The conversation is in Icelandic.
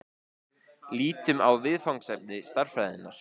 Lítum á viðfangsefni stærðfræðinnar.